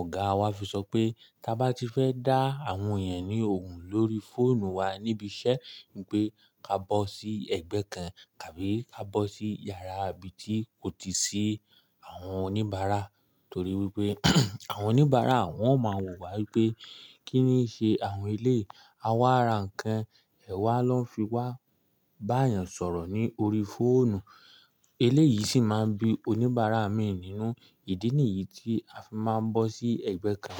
ọ̀gáa wa fi sọ pé ká bá ti fẹ́ dá àwọn èèyàn ní ohùn lórí fóònù wa níbi iṣẹ́ wípé ká bọ́ sí ẹgbẹ́ kan, kàbí ká bọ́ sí yàrá ibi tí kò tíì sí àwọn oníbàárà torí wípé àwọn oníbàárà wọn ó máa wò wá wípé kí ni i ṣe àwọn eléèyi. A wá ra nǹkan, ẹ̀ wá lọ́ fi wá bá èèyàn sọ̀rọ̀ ní orí fóònù. Eléèyí sì máa bí oníbàárà mi nínú. Ìdí nìyí tí a fi máa ń bọ́ sí ẹgbẹ́ kan.